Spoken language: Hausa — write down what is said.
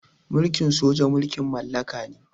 Mulkin soja mulkin mallaka ne.